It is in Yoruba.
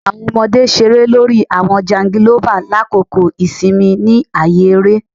Awọn ọmọde ṣere lori awọn jangilova lakoko isinmi ni aaye ere